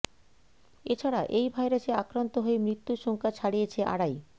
এ ছাড়া এই ভাইরাসে আক্রান্ত হয়ে মৃত্যুর সংখ্যা ছাড়িয়েছে আড়াই